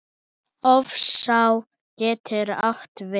Hofsá getur átt við